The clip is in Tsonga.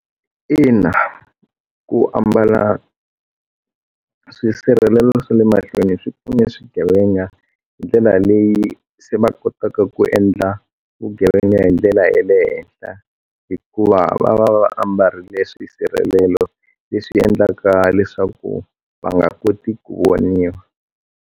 Ina ku ambala swisirheleli swa le mahlweni swi pfune swigevenga ndlela leyi se va kotaka ku endla vugevenga hi ndlela ya le henhla hikuva va va va ambarile leswi hi sirhelelo leswi endlaka leswaku va nga koti ku voniwa.